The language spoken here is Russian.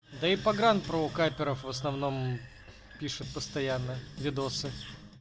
да и погран про капперов в основном пишет постоянно видосы